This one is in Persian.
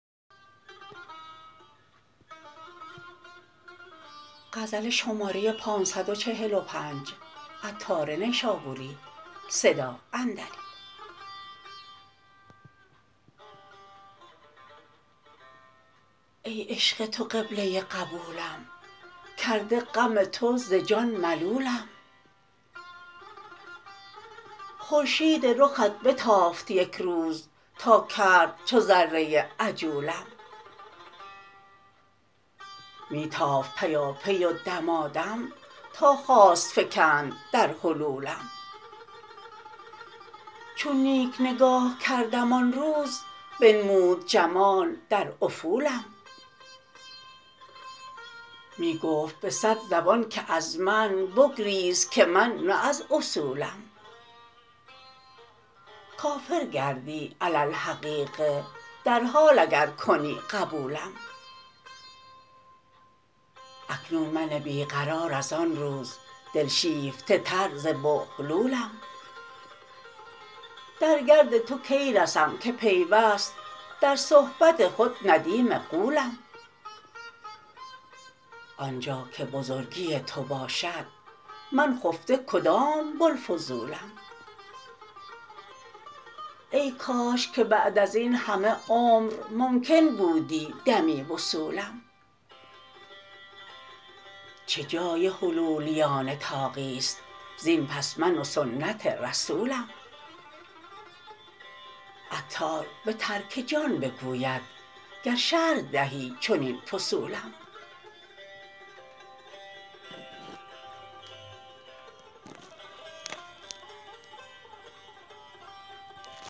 ای عشق تو قبله قبولم کرده غم تو ز جان ملولم خورشید رخت بتافت یک روز تا کرد چو ذره عجولم می تافت پیاپی و دمادم تا خواست فکند در حلولم چون نیک نگاه کردم آن روز بنمود جمال در افولم می گفت به صد زبان که از من بگریز که من نه از اصولم کافر گردی علی الحقیقه در حال اگر کنی قبولم اکنون من بی قرار از آن روز دل شیفته تر ز بوهلولم در گرد تو کی رسم که پیوست در صحبت خود ندیم غولم آنجا که بزرگی تو باشد من خفته کدام بوالفضولم ای کاش که بعد ازین همه عمر ممکن بودی دمی وصولم چه جای حلولیان طاغی است زین پس من و سنت رسولم عطار به ترک جان بگوید گر شرح دهی چنین فصولم